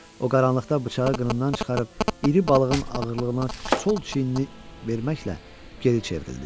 O qaranlıqda bıçağı qınından çıxarıb iri balığın ağırlığına sol çiyinini verməklə geri çevrildi.